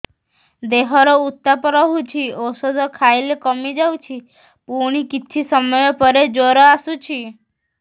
ଦେହର ଉତ୍ତାପ ରହୁଛି ଔଷଧ ଖାଇଲେ କମିଯାଉଛି ପୁଣି କିଛି ସମୟ ପରେ ଜ୍ୱର ଆସୁଛି